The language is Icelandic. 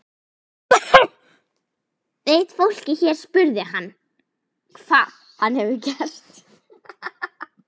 Veit fólkið hér spurði hann, hvað hann hefur gert?